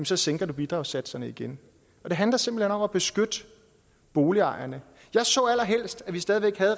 så sænker bidragssatserne igen det handler simpelt hen om at beskytte boligejerne jeg så allerhelst at vi stadig væk havde